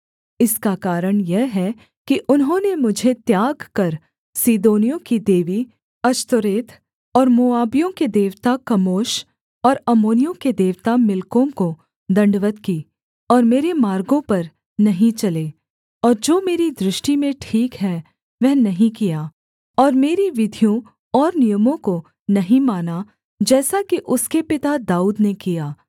इसका कारण यह है कि उन्होंने मुझे त्याग कर सीदोनियों की देवी अश्तोरेत और मोआबियों के देवता कमोश और अम्मोनियों के देवता मिल्कोम को दण्डवत् की और मेरे मार्गों पर नहीं चले और जो मेरी दृष्टि में ठीक है वह नहीं किया और मेरी विधियों और नियमों को नहीं माना जैसा कि उसके पिता दाऊद ने किया